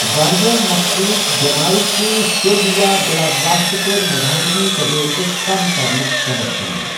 واریٛاہ مخصوص بٮ۪مارِ چھِ سیٚو٘د یا بِلا واسطہٕ پٲٹھہِ مزاحمتی تدورٗكس كم كرنٗك سبب بنان ۔